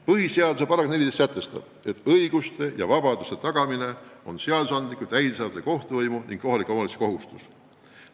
Põhiseaduse § 14 sätestab, et õiguste ja vabaduste tagamine on seadusandliku, täidesaatva ja kohtuvõimu ning kohalike omavalitsuste kohustus.